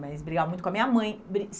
Mas brigava muito com a minha mãe.